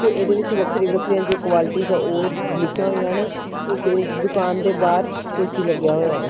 ਇਹਦੇ ਵਿੱਚ ਵੱਖਰੀ ਵੱਖਰੀ ਜੋ ਕੁਆਲਿਟੀਜ਼ ਆ ਉਹ ਲਿਖੀਆਂ ਹੋਈਆਂ ਨੇ ਇਹ ਦੁਕਾਨ ਦੇ ਬਾਹਰ ਏ ਸੀ ਲੱਗਿਆ ਹੋਇਆ ਏ।